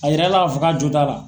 A yira a la ka fɔ ka jo t'a la.